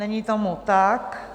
Není tomu tak.